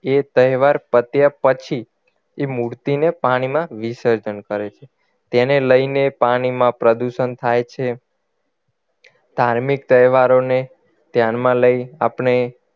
એ તહેવાર પત્યા પછી એ મૂર્તિને પાણીમાં વિસર્જન કરે છે તેને લઈને પાણીમાં પ્રદૂષણ થાય છે ધાર્મિક તહેવારોને ધ્યાનમાં લઈ આપણે